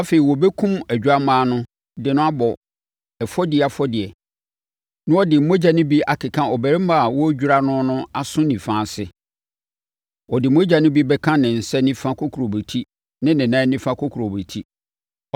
Afei, wɔbɛkum odwammaa no de no abɔ ɛfɔdie afɔdeɛ na ɔde ne mogya no bi akeka ɔbarima a wɔredwira no no aso nifa ase. Ɔde mogya no bi bɛka ne nsa nifa kokurobetie ne ne nan nifa kokurobetie.